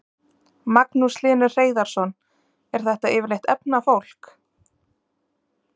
Magnús Hlynur Hreiðarsson: Er þetta yfirleitt efnað fólk?